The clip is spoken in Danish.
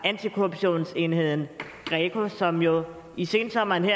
antikorruptionsenheden greco som jo i sensommeren